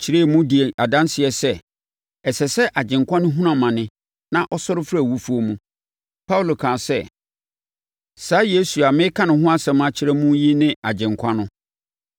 kyerɛɛ mu, dii adanseɛ sɛ ɛsɛ sɛ, Agyenkwa no hunu amane na ɔsɔre firi awufoɔ mu. Paulo kaa sɛ, “Saa Yesu a mereka ne ho asɛm akyerɛ mo yi ne Agyenkwa no.”